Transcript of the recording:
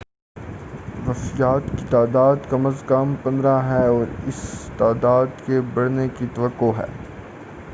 وفیات کی تعداد کم از کم 15 ہے اور اس تعداد کے بڑھنے کی توقع ہے